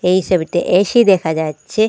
এই সবিতে এ_সি দেখা যাচ্চে।